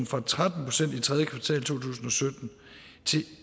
fra tretten procent i tredje kvartal to tusind og sytten til